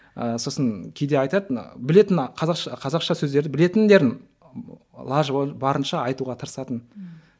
ы сосын кейде айтады білетін қазақша қазақша сөздерді білетіндерін лажы барынша айтуға тырысатын ммм